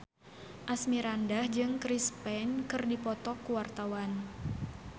Asmirandah jeung Chris Pane keur dipoto ku wartawan